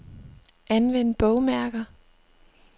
Anvend bogmærker.